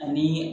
Ani